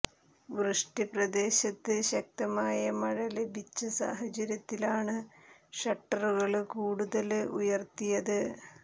വൃഷ്ടി പ്രദേശത്ത് ശക്തമായ മഴ ലഭിച്ച സാഹചര്യത്തിലാണ് ഷട്ടറുകള് കൂടുതല് ഉയര്ത്തിയത്